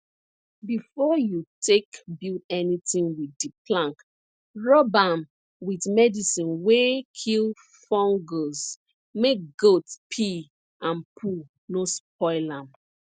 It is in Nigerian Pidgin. before you take build anything with di plank rub am with medicine wey kill fungus make goat pee and poo no spoil am